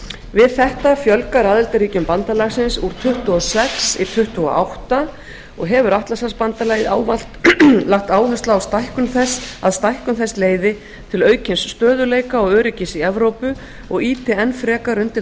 við þetta fjölgar aðildarríkjum bandalagsins úr tuttugu og sex í tuttugu og átta og hefur atlantshafsbandalagið ávallt lagt áherslu á að stækkun þess leiði til aukins stöðugleika og öryggis í evrópu og ýti enn frekar undir